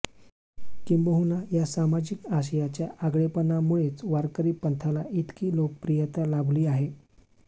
किंबहुना या सामाजिक आशयाच्या आगळेपणामुळेच वारकरी पंथाला इतकी लोकप्रियता लाभली आहे